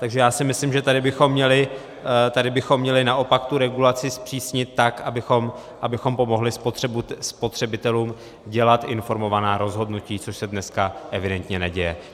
Takže já si myslím, že tady bychom měli naopak tu regulaci zpřísnit tak, abychom pomohli spotřebitelům dělat informovaná rozhodnutí, což se dneska evidentně neděje.